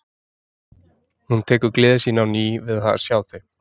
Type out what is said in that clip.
Hún tekur gleði sína á ný við það að sjá þau.